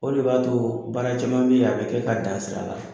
O de b'a to baara caman bɛ a bɛ kɛ ka dan sira la.